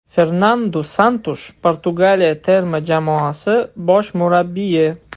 Fernandu Santush, Portugaliya terma jamoasi bosh murabbiyi.